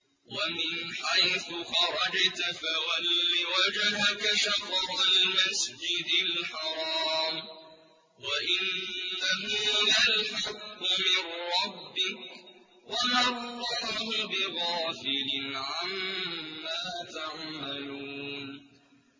وَمِنْ حَيْثُ خَرَجْتَ فَوَلِّ وَجْهَكَ شَطْرَ الْمَسْجِدِ الْحَرَامِ ۖ وَإِنَّهُ لَلْحَقُّ مِن رَّبِّكَ ۗ وَمَا اللَّهُ بِغَافِلٍ عَمَّا تَعْمَلُونَ